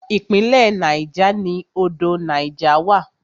Ìpínlẹ̀ Niger ni odò Niger wà.